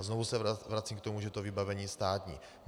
A znovu se vracím k tomu, že to vybavení je státní.